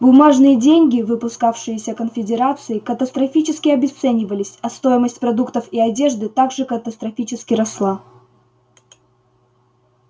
бумажные деньги выпускавшиеся конфедерацией катастрофически обесценивались а стоимость продуктов и одежды так же катастрофически росла